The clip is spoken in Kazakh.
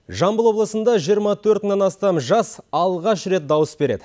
жамбыл облысында жиырма төрт мыңнан астам жас алғаш рет дауыс береді